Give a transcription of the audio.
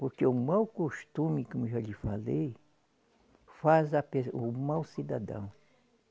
Porque o mau costume, como já lhe falei, faz a pe, o mau cidadão.